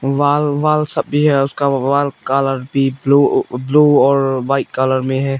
Wall wall सब भी है उसका वॉल कलर भी ब्लू ब्लू और व्हाइट कलर में है।